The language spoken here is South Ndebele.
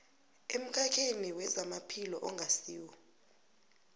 emkhakheni wezamaphilo ongasiwo